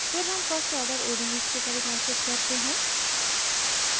फिर हम first order odes को परिभाषित करते हैं